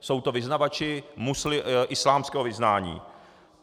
Jsou to vyznavači islámského vyznání.